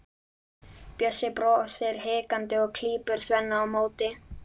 Bjössi brosir hikandi og klípur Svenna á móti.